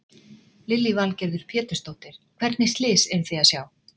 Lillý Valgerður Pétursdóttir: Hvernig slys eruð þið að sjá?